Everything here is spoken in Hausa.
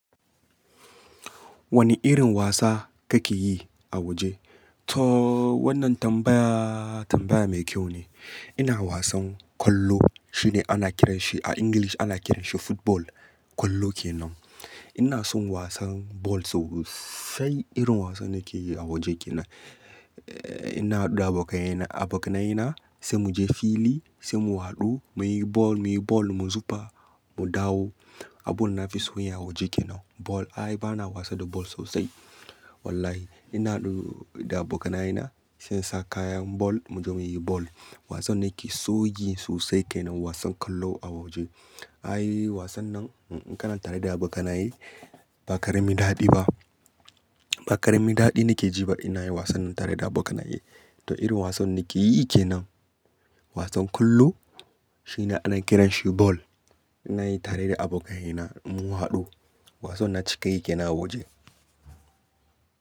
Wane irin wasa kake yi a waje? To wannan tambaya tambaya mai kyau ne. Ina wasan kwallo shine ana kiranshi a English ana kiranshi football. Kwalo kenan. Ina son wasan ball sosai irin wasan nake yi a waje kenan. Eh ina haɗu da abokaina abokanaye na sai mu je fili sai mu haɗu muyi ball muyi ball mu zuba mu dawo. A ball nafison yi a waje kenan. Ball ai bana wasa da ball sosai. Wallahi ina haɗu da abokanaye na sai sa kayan ball muje muyi ball. Wasan nake soyi sosai kenan wasan kwallo a waje. Ai wasan nan in'kana tare da abokanaye ba ƙaramin daɗi ba. Ba ƙaramin daɗi nake jiba ina yin wasan nan tare da abokanaye. To irin wasan nake yi kenan wasan kwallo shine ana kiran shi ball. Ina yi tare da abokaina in mun haɗu. Wasan naci kayi kenan a waje.